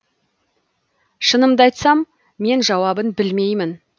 шынымды айтсам мен жауабын білмеймін